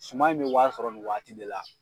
Suma in bɛ wari sɔrɔ nin waati de la.